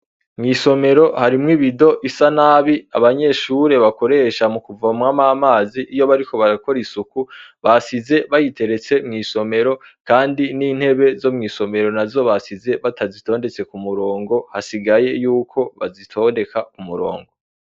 Mw' isomero harimwo ibido isa nabi abanyeshure bakoresha mu kuvomamwo amazi iyo bariko barakora isuku, basize bayiteretse mw' isomero kandi n' intebe zo mw' isomero nazo basize batazitondetse Ku murongo, hasigaye yuko bazitondeka Ku murongo.